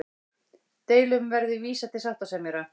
Deilum verði vísað til sáttasemjara